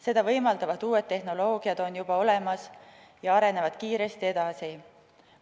Seda võimaldavad uued tehnoloogiad on juba olemas ja arenevad kiiresti edasi.